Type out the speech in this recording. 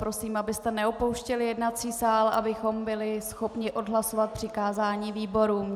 Prosím, abyste neopouštěli jednací sál, abychom byli schopni odhlasovat přikázání výborům.